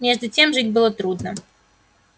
между тем жить было трудно